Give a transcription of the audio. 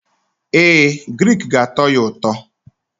Ee, grik ga-atọ ya ụtọ.